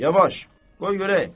Yavaş, qoy görək.